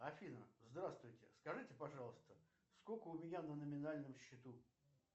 афина здравствуйте скажите пожалуйста сколько у меня на номинальном счету